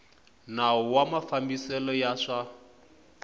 nawu wa mafambisele ya swa